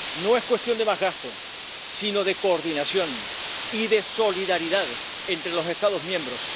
No es cuestión de más gasto, sino de coordinación y de solidaridad entre los Estados miembros.